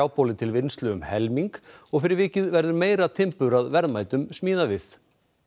trjáboli til vinnslu um helming og fyrir vikið verður meira timbur að verðmætum smíðavið